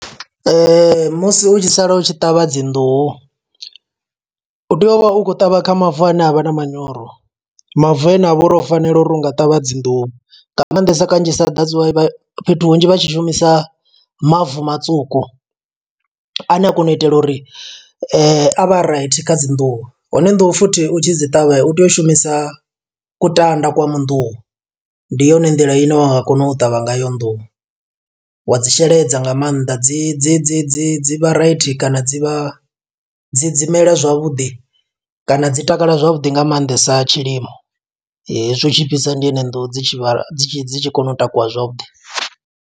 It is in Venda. Ee, musi u tshi sala u tshi ṱavha dzi nḓuhu, u tea u vha u khou ṱavha kha mavu ane avha na manyoro. Mavu ane avha uri o fanela uri u nga ṱavha dzi nḓuhu, nga maanḓesa kanzhisa that's why fhethu hunzhi vha tshi shumisa mavu matsuku. Ane a kona u itela uri a vhe a raithi kha dzi nḓuhu, hone nḓuhu futhi u tshi dzi ṱavha u tea u shumisa kutanda kwa mu nḓuhu. Ndi yone nḓila ine wa nga kona u ṱavha ngayo nḓuhu, wa dzi sheledza nga maanḓa dzi dzi dzi dzi dzi vha raithi kana dzi vha dzi dzi mela zwavhuḓi kana dzi takala zwavhuḓi, nga maanḓesa tshilimo. Hezwi hu tshi fhisa ndi hone nnḓuhu dzi tshi vha, dzi tshi dzi tshi kona u takuwa zwavhuḓi.